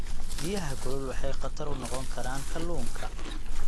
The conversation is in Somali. Biyaha kulul waxay khatar u noqon karaan kalluunka.